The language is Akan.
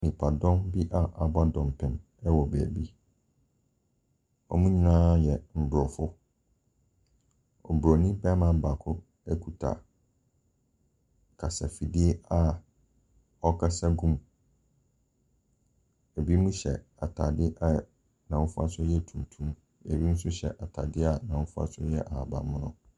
Nipadɔm bi a abɔdɔnpim ɛwɔ baabi. Wɔn nyinaa yɛ abrɔfo. Broni barima baako ekuta kasa efidie a ɔkasa gu mu. ebinom hyɛ ataade a n'ahofasuo ɛyɛ tuntum. Ebi nso hyɛ ataade a n'ahofasuo ɛyɛ ahaban mono.